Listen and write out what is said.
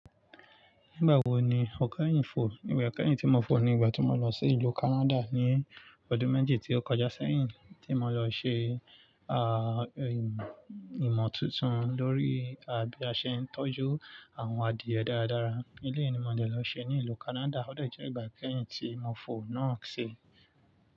Nígbà wo ni o kẹ́yìn fò? Igbà kẹ́yìn tí mo fò ni ìgbà tí mo lọ sí ìlú Canada ní ọdún méjì tí ó kọjá sẹ́yìn, tí mo lọ ṣe a-ì-ìmọ̀ tuntun lórí bí a ṣe ń tọ́jú àwọn adìẹ dáradára. Èléyii nímọ̀ dẹ́ lọ ṣe ní ìlú Canada. Ó dẹ̀jẹ́ ìgbà kẹ́yìn tí mo fò náà ṣi.